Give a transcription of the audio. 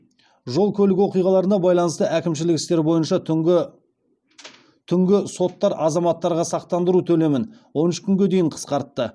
жол көлік оқиғаларына байланысты әкімшілік істер бойынша түнгі соттар азаматтарға сақтандыру төлемін он үш күнге дейін қысқартты